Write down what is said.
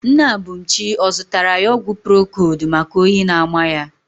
Nne Abumchi ọ zụtara ya ọgwụ procold maka oyi na-ama ya?